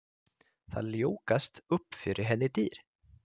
Það ljúkast upp fyrir henni dyr.